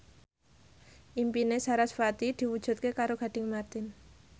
impine sarasvati diwujudke karo Gading Marten